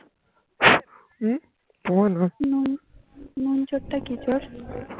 নুন চোর টা কি চোর